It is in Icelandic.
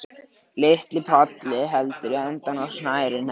Lítill polli heldur í endann á snærinu.